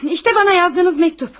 İşte mənə yazdığınız məktub.